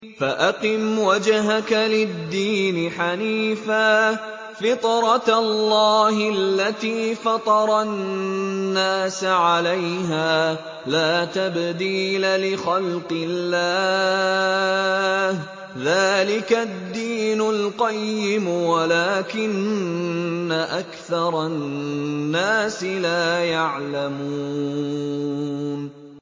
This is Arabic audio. فَأَقِمْ وَجْهَكَ لِلدِّينِ حَنِيفًا ۚ فِطْرَتَ اللَّهِ الَّتِي فَطَرَ النَّاسَ عَلَيْهَا ۚ لَا تَبْدِيلَ لِخَلْقِ اللَّهِ ۚ ذَٰلِكَ الدِّينُ الْقَيِّمُ وَلَٰكِنَّ أَكْثَرَ النَّاسِ لَا يَعْلَمُونَ